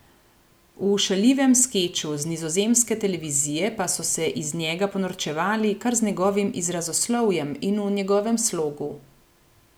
V šaljivem skeču z nizozemske televizije pa so se iz njega ponorčevali kar z njegovim izrazoslovjem in v njegovem slogu.